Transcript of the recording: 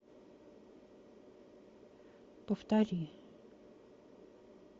повтори